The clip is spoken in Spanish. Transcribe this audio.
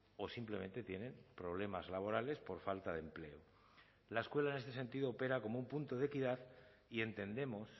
o simplemente tienen problemas laborales por falta de empleo la escuela en este sentido opera como un punto de equidad y entendemos